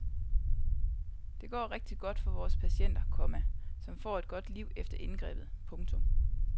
Det går rigtigt godt for vores patienter, komma som får et godt liv efter indgrebet. punktum